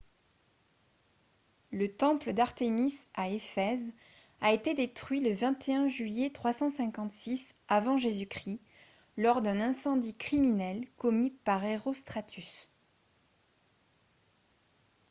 le temple d'artémis à ephèse a été détruit le 21 juillet 356 avant j.-c. lors d'un incendie criminel commis par herostratus